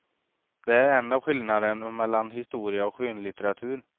Det är en av skillnaderna mellan historia och skönlitteratur.